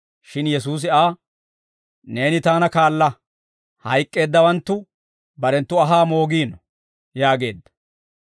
Shin Yesuusi Aa, «Neeni taana kaala; hayk'k'eeddawanttu barenttu anhaa moogino» yaageedda.